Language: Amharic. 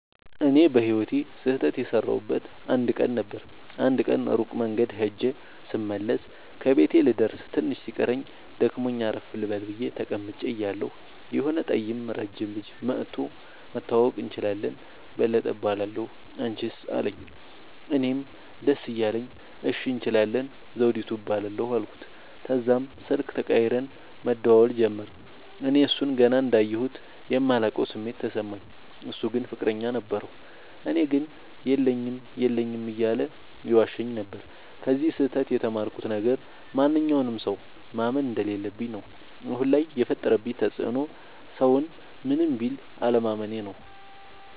እኔ በህይወቴ ስህተት የሠረውበት አንድ ቀን ነበር። አንድ ቀን ሩቅ መንገድ ኸጀ ስመለስ ከቤቴ ልደርስ ትንሽ ሲቀረኝ ደክሞኝ አረፍ ልበል ብየ ተቀምጨ እያለሁ የሆነ ጠይም ረጅም ልጅ መኧቶ<< መተዋወቅ እንችላለን በለጠ እባላለሁ አንችስ አለኝ>> አለኝ። እኔም ደስ እያለኝ እሺ እንችላለን ዘዉዲቱ እባላለሁ አልኩት። ተዛም ስልክ ተቀያይረን መደዋወል ጀመርን። እኔ እሡን ገና እንዳየሁት የማላቀዉ ስሜት ተሰማኝ። እሡ ግን ፍቅረኛ ነበረዉ። ለኔ ግን የለኝም የለኝም እያለ ይዋሸኝ ነበር። ከዚ ስህተ ት የተማርኩት ነገር ማንኛዉንም ሠዉ ማመን እንደለለብኝ ነዉ። አሁን ላይ የፈጠረብኝ ተፅዕኖ ሠዉን ምንም ቢል አለማመኔ ነዉ።